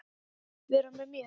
Vera með mér?